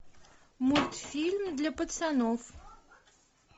мультфильм для пацанов